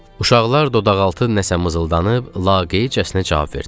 Uşaqlar dodaqaltı nəsə mızıldanıb, laqeydcəsinə cavab verdilər.